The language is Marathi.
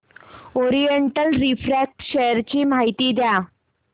ओरिएंट रिफ्रॅक्ट शेअर ची माहिती द्या